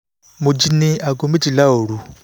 mo jí ní aago méjìlá òru